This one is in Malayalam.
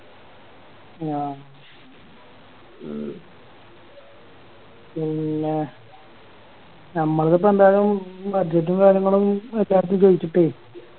ആ ഉം പിന്നെ ഞമ്മളതിപ്പൊ എന്തായാലും Budget ഉം കാര്യങ്ങളും കൂട്ട്കാരെടുത്ത് ചോയിച്ചിട്ടേയ്